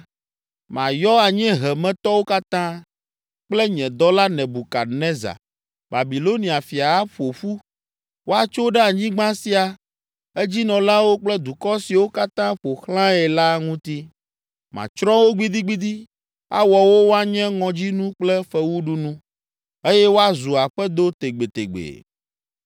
mayɔ anyiehemetɔwo katã, kple nye dɔla Nebukadnezar, Babilonia fia aƒo ƒu, woatso ɖe anyigba sia, edzinɔlawo kple dukɔ siwo katã ƒo xlãe la ŋuti. Matsrɔ̃ wo gbidigbidi, awɔ wo woanye ŋɔdzinu kple fewuɖunu, eye woazu aƒedo tegbetegbe.